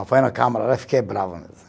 Ah, foi na câmara, fiquei bravo mesmo.